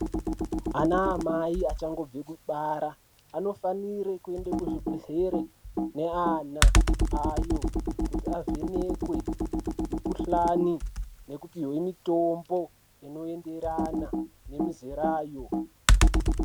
Ana amai achangobve kubara, anofanire kuende kuzvibhedhlere neana ayo kuti avhenekwe mikuhlani nekupihwe mitombo inoenderana nemizerayo.